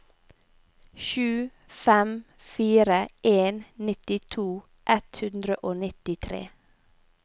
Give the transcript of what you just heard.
sju fem fire en nittito ett hundre og nittitre